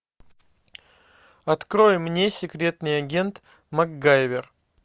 открой мне секретный агент макгайвер